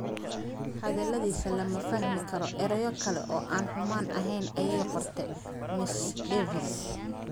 Hadaladiisa "Lama fahmi karo erayo kale oo aan xumaan ahayn", ayay qortay Mrs. Davis.